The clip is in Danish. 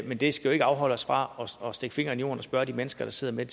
men det skal jo ikke afholde os fra at stikke fingeren i jorden og spørge de mennesker der sidder med